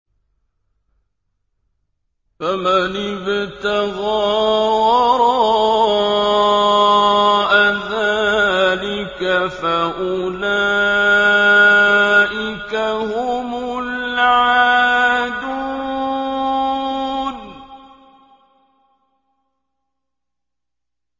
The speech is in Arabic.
فَمَنِ ابْتَغَىٰ وَرَاءَ ذَٰلِكَ فَأُولَٰئِكَ هُمُ الْعَادُونَ